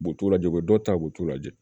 U bu t'u lajɛ u bɛ dɔ ta u t'u lajɛ